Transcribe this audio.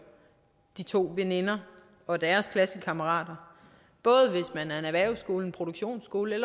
de to veninder og deres klassekammerater både hvis man er en erhvervsskole en produktionsskole og